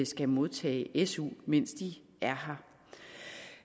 skal modtage su mens de er